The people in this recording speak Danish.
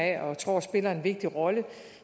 af og tror spiller en vigtig rolle